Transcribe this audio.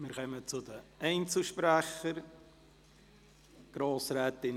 Wir kommen zu den Einzelsprechern.